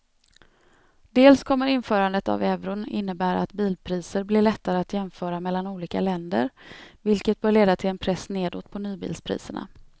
Dels kommer införandet av euron innebära att bilpriser blir lättare att jämföra mellan olika länder vilket bör leda till en press nedåt på nybilspriserna.